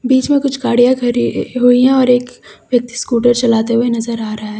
बीच में कुछ गाड़ियाँ खड़ी हुई हैं एवं यहां और एक व्यक्ति स्कूटर चलाते हुए नजर आ रहा है।